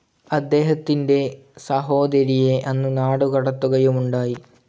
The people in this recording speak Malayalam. അദ്ദേഹത്തിന്റെ സഹോദരിയെ അന്ന് നാടുകടത്തുകയുമുണ്ടായി.